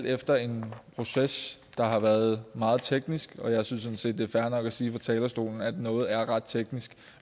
efter en proces der har været meget teknisk og jeg synes sådan set det er fair nok at sige fra talerstolen at noget er ret teknisk